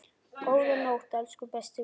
Góða nótt, elsku besti vinur.